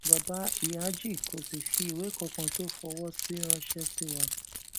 bàbá ìyájí kò sì fi ìwé kankan tó fọwọ sí ránṣẹ sí wa